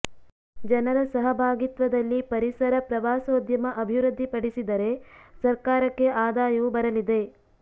ಜನರ ಸಹಭಾಗಿತ್ವದಲ್ಲಿ ಪರಿಸರ ಪ್ರವಾಸೋದ್ಯಮ ಅಭಿವೃದ್ಧಿ ಪಡಿಸಿದರೆ ಸರ್ಕಾರಕ್ಕೆ ಆದಾಯವು ಬರಲಿದೆ